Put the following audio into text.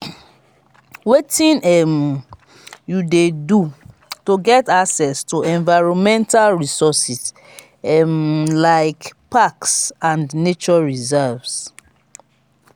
wetin um you dey do to get access to environmental resources um like parks and nature reserves?